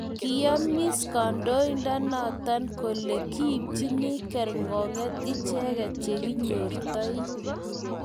kiyomiss kaindoinatet kole kipchini kergonyet icheget che kinyortoi